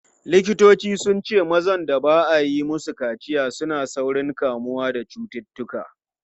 Likitoci sun ce mazan da ba a yi musu kaciya suna da saurin kamuwa da cututtuka.